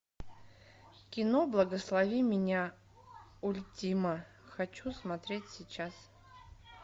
кино благослови меня ультима хочу смотреть сейчас